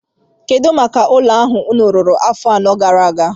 Kedụ maka ụlọ ahụ unu wuru afọ anọ gara aga?